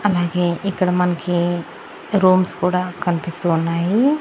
అలాగే ఇక్కడ మనకి రూమ్స్ కూడా కన్పిస్తూ ఉన్నాయి.